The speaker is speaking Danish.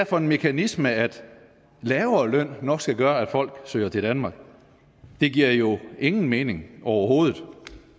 for en mekanisme at lavere løn nok skal gøre at folk søger til danmark det giver jo ingen mening overhovedet